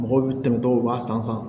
Mɔgɔw bɛ tɛmɛ dɔw b'a san